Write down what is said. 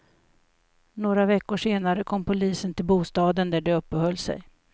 Några veckor senare kom polisen till bostaden där de uppehöll sig.